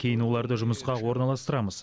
кейін оларды жұмысқа орналастырамыз